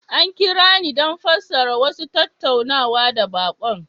An kira ni don fassara wasu tattaunawa ga baƙon